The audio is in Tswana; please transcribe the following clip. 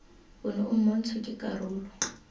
ono o montshwa ke karolo